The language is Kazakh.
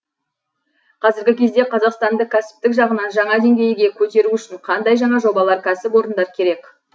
қазіргі кезде қазақстанды кәсіптік жағынан жаңа деңгейіге көтеру үшін қандай жаңа жобалар кәсіп орындар керек